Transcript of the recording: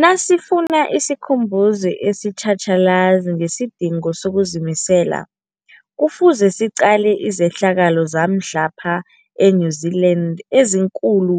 Nasifuna isikhumbuzo esitjhatjhalazi ngesidingo sokuzimisela, Kufuze siqale izehlakalo zamhlapha e-New Zealand eziinkulu